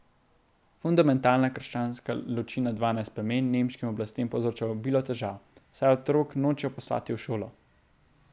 Fundamentalna krščanska ločina Dvanajst plemen nemškim oblastem povzroča obilo težav, saj otrok nočejo poslati v šolo.